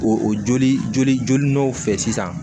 O joli jolilaw fɛ sisan